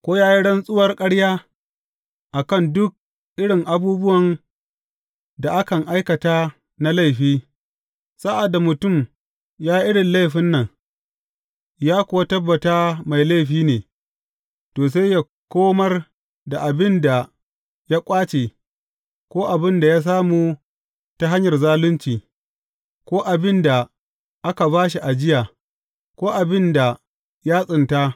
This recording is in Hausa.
Ko ya yi rantsuwar ƙarya a kan duk irin abubuwan da akan aikata na laifi, sa’ad da mutum ya yi irin laifin nan, ya kuwa tabbata mai laifi ne, to, sai yă komar da abin da ya ƙwace, ko abin da ya samu ta hanyar zalunci, ko abin da aka ba shi ajiya, ko abin da ya tsinta.